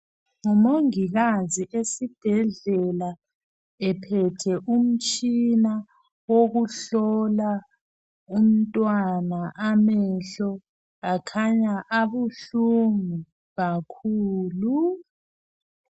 Ngumongikazi esibhedlela ephethe umtshina wokuhlola umntwana amehlo, akhanya abuhlungu kakhulu.